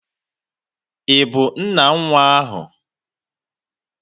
Ị bụ nna nwa ahụ?